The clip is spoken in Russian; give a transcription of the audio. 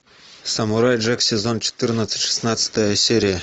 самурай джек сезон четырнадцать шестнадцатая серия